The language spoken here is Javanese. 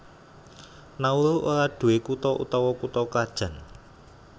Nauru ora nduwé kutha utawa kutha krajan